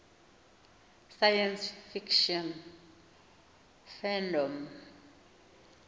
science fiction fandom